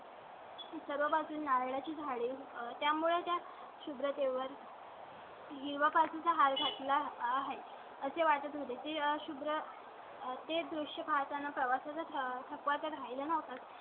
सर्व पासून नारळा ची झाडे आहेत. यामुळे त्या शुभ्र तेवर . तेव्हापासून चा हार घात ला आहे असे वाटत होते. शुद्रा ते दृष्य पाहताना प्रवासा चा थकवा त्या राहिला नव्हता.